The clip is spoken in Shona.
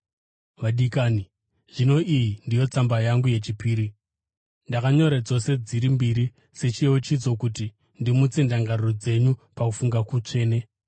Vadikani, zvino iyi ndiyo tsamba yangu yechipiri. Ndakanyora dzose dziri mbiri sechiyeuchidzo, kuti ndimutse ndangariro dzenyu pakufunga kutsvene.